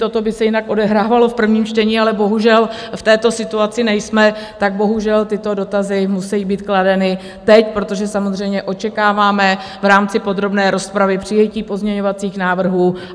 Toto by se jinak odehrávalo v prvním čtení, ale bohužel v této situaci nejsme, tak bohužel tyto dotazy musí být kladeny teď, protože samozřejmě očekáváme v rámci podrobné rozpravy přijetí pozměňovacích návrhů.